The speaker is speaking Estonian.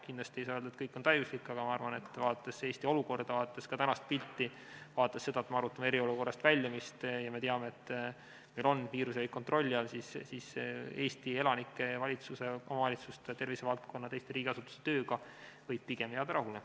Kindlasti ei saa öelda, et kõik on täiuslik, aga ma arvan, vaadates Eesti olukorda, vaadates ka tänast pilti, vaadates seda, et me arutame eriolukorrast väljumist ja teame, et meil on viirus kontrolli all, et Eesti elanike, valitsuse, omavalitsuste, tervisevaldkonna ja teiste riigiasutuste tööga võib pigem jääda rahule.